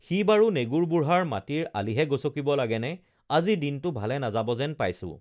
সি বাৰু নেগুৰ বুঢ়াৰ মাটিৰ আলিহে গচকিব লাগেনে আজি দিনটো ভালে নাযাবা যেন পাইছোঁ